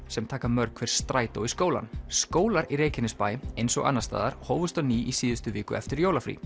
sem taka mörg hver strætó í skólann skólar í Reykjanesbæ eins og annars staðar hófust á ný í síðustu viku eftir jólafrí